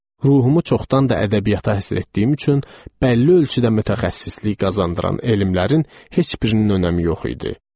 Ruhumu çoxdan da ədəbiyyata həsr etdiyim üçün bəlli ölçüdə mütəxəssislik qazandıran elmlərin heç birinin önəmi yox idi.